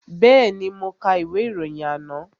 Bẹ́ẹ̀ni, mo ka ìwé ìròyìn àná